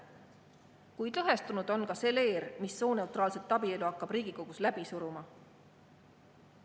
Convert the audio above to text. Kuid lõhestunud on ka see leer, mis sooneutraalset abielu hakkab Riigikogus läbi suruma.